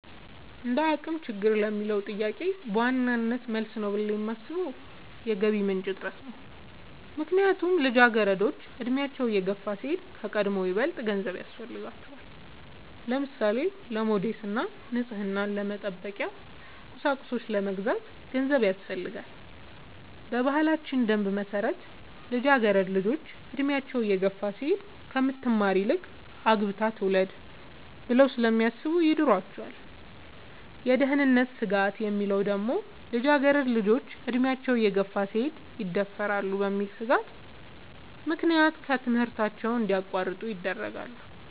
እንደአቅም ችግር ለሚለው ጥያቄ በዋናነት መልስ ነው ብሌ የማሥበው የገቢ ምንጭ እጥረት ነው። ምክንያቱም ልጃገረዶች አድሚያቸው እየገፋ ሲሄድ ከቀድሞው ይበልጥ ገንዘብ ያሥፈልጋቸዋል። ለምሳሌ:-ለሞዴስ እና ንፅህናን መጠበቂያ ቁሳቁሶች ለመግዛት ገንዘብ ያሥፈልጋል። በባህላችን ደንብ መሠረት ልጃገረድ ልጆች እድሚያቸው እየገፋ ሲሄድ ከምትማር ይልቅ አግብታ ትውለድ ብለው ስለሚያሥቡ ይድሯቸዋል። የደህንነት ስጋት የሚለው ደግሞ ልጃገረድ ልጆች አድሚያቸው እየገፋ ሲሄድ ይደፈራሉ በሚል ሥጋት ምክንያት ከትምህርታቸው እንዲያቋርጡ ይደረጋሉ።